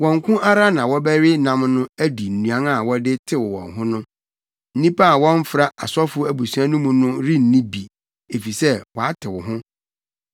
Wɔn nko ara na wɔbɛwe nam no adi nnuan a wɔde tew wɔn ho no. Nnipa a wɔmfra asɔfo abusua no mu no renni bi, efisɛ wɔatew ho.